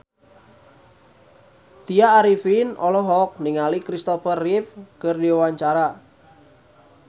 Tya Arifin olohok ningali Kristopher Reeve keur diwawancara